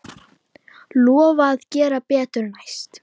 Lofa að gera betur næst.